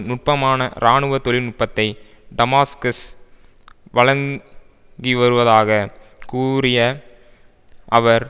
நுட்பமான இராணுவ தொழில்நுட்பத்தை டமாஸ்கஸ் வழங்கி வருவதாக கூறிய அவர்